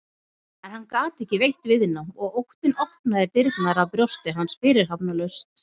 En hann gat ekki veitt viðnám og óttinn opnaði dyrnar að brjósti hans fyrirhafnarlaust.